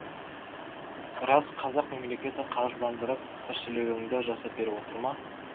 рас қазақ мемлекеті қаржыландырып тіршілігіңді жасап беріп отыр ма